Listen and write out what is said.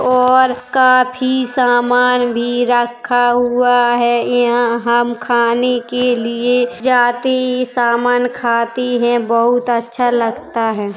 और काफी समान भी रखा हुआ हैं यहाँ हम खाने के लिए जाते समान खाते हैं बहुत अच्छा लगता है।